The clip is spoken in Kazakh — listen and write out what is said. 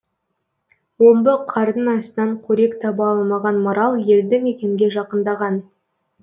омбы қардың астынан қорек таба алмаған марал елді мекенге жақындаған